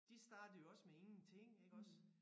De startede jo også med ingenting iggås